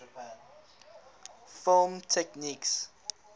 film techniques